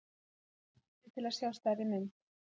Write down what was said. Smelltu á kortið til að sjá stærri mynd.